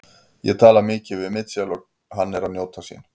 Ég tala mikið við Michael og hann er að njóta sín.